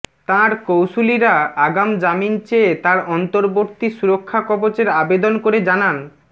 তাঁর কৌঁশুলিরা আগাম জামিন চেয়ে তাঁর অন্তর্বর্তী সুরক্ষা কবচের আবেদন করে জানান